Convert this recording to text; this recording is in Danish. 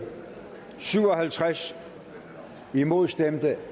syv og halvtreds imod stemte